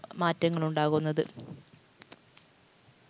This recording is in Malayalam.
മാറ്റങ്ങൾ ഉണ്ടാകുന്നത്.